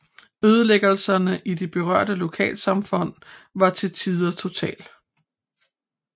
Ødelæggelserne i de berørte lokalsamfund var til tider total